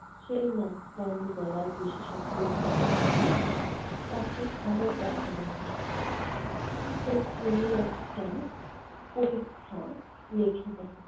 সেই নাক-কান-গলার বিশেষজ্ঞ যে ডাক্তার তাকে আবার দেখানো হয়। তো তিনি একটা পরীক্ষা লিখে দেন।